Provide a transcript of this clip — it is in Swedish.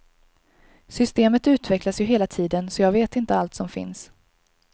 Systemet utvecklas ju hela tiden, så jag vet inte allt som finns.